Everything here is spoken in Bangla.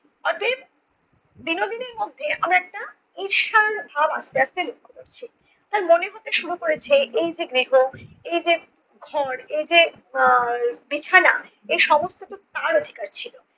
অতএব বিনোদিনীর মধ্যে আমরা একটা ঈর্ষার ভাব আস্তে আস্তে লক্ষ্য করছি। তার মনে হতে শুরু হয়েছে এই যে গৃহ এই যে ঘর এই যে আহ বিছানা এই সমস্ত টুকু তার অধিকার ছিল।